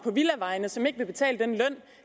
som ikke vil betale den løn